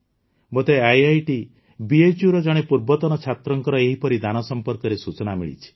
ମୋତେ ଆଇଆଇଟି ବିଏଚ୍ୟୁର ଜଣେ ପୂର୍ବତନ ଛାତ୍ରଙ୍କ ଏହିପରି ଦାନ ସମ୍ପର୍କରେ ସୂଚନା ମିଳିଛି